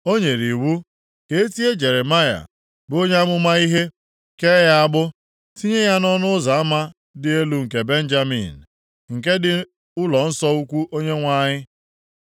o nyere iwu ka e tie Jeremaya, bụ onye amụma ihe, kee ya agbụ, tinye ya nʼọnụ ụzọ ama Dị Elu nke Benjamin, nke dị ụlọnsọ ukwu Onyenwe anyị.